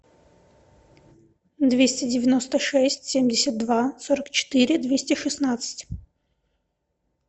двести девяносто шесть семьдесят два сорок четыре двести шестнадцать